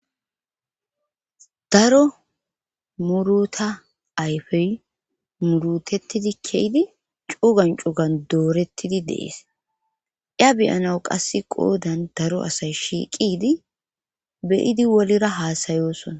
daro muruta ayfey murutettidi keydi cugan cugan doorettidi dees iya beyanawu qasse qoodan daro asay shiiqidi beyidi wolira haasayoosona